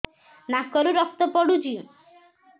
ନାକରୁ ରକ୍ତ ପଡୁଛି